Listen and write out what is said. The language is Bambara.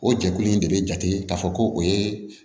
O jɛkulu in de bɛ jate k'a fɔ ko o ye